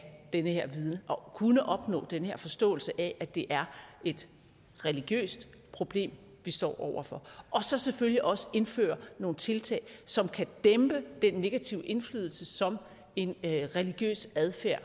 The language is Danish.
den her viden og kunne opnå den her forståelse af at det er et religiøst problem vi står over for og så selvfølgelig også indføre nogle tiltag som kan dæmpe den negative indflydelse som en religiøs adfærd